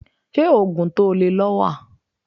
Ṣé Ógùn tó lè lọ wà?.